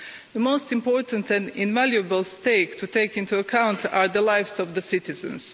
The most important and invaluable stake to take into account are the lives of the citizens.